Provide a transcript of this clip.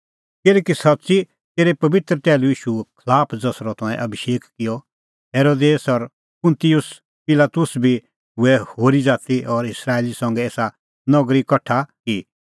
किल्हैकि सच्च़ी तेरै पबित्र टैहलू ईशूए खलाफ ज़सरअ तंऐं अभिषेक किअ हेरोदेस और पुंतिउस पिलातुस बी हुऐ होरी ज़ाती और इस्राएली संघै एसा नगरी कठा कि